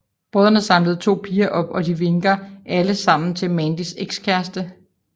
Brødrene samler to piger til op og de vinker alle sammen til Mandys ekskæreste